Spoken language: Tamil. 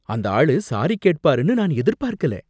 அந்த ஆளு சாரி கேட்பாருனு நான் எதிர்பார்க்கல